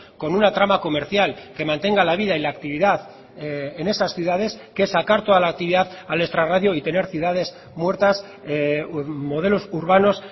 con una trama comercial que mantenga la vida y la actividad en esas ciudades que sacar toda la actividad al extrarradio y tener ciudades muertas modelos urbanos